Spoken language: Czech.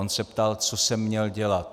On se ptal: Co jsem měl dělat?